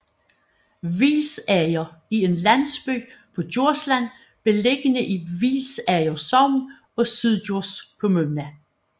Hvilsager er en landsby på Djursland beliggende i Hvilsager Sogn og Syddjurs Kommune